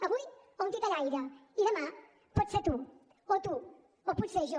avui a un titellaire i demà pots ser tu o tu o potser jo